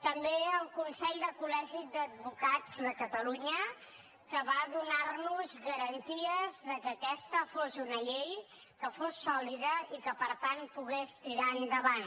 també al consell de col·legis d’advocats de catalunya que va donar nos garanties que aquesta fos una llei que fos sòlida i que per tant pogués tirar endavant